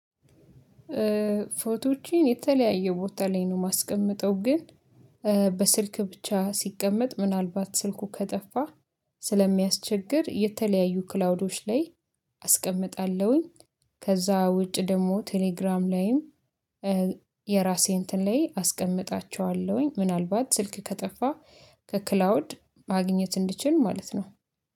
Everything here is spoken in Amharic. ፎቶዎችን የተለያየ ቦታ ላይ ነው የማስቀምጠው ግን በስልክ ብቻ ሲቀመጥ ምናልባት ስልኩ ከጠፋ ስለሚያስቸግር የተለያዩ ክላውዶች ላይ አስቀምጣለሁኝ። ከዛ ውጭ ደግሞ ቴሌግራም ላይም የራሴ እንትን ላይ አስቀምጣቸዋለሁኝ። ምናልባት ስልክ ከጠፋ ከክላውድ ማግኘት እንድችል ማለት ነው